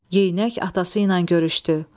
Yeyinək atası ilə görüşdü.